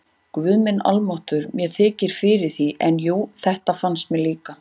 Guð minn almáttugur, mér þykir fyrir því, en jú, þetta fannst mér líka